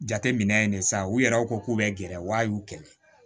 Jateminɛ ye ne sa u yɛrɛ ko k'u bɛ gɛrɛ wa a y'u kɛlɛ